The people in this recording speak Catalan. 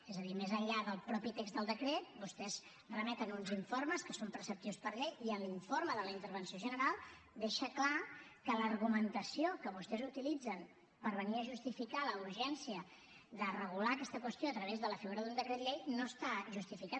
és a dir més enllà del mateix text del decret vostès remeten uns informes que són preceptius per llei i l’informe de la intervenció general deixa clar que l’argumentació que vostès utilitzen per venir a justificar la urgència de regular aquesta qüestió a través de la figura d’un decret llei no està justificada